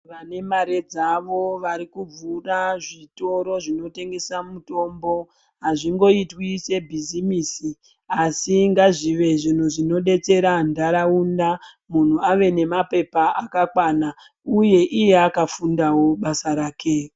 Vane mare dzavo varikuvhura zvitoro zvinotengesa mitombo azvingoitwi sebhizimisi asi ngazvive zvinhu zvinodetsera ndaraunda munhu ave nemapepa akakwana uye iye akafundawo basa rake.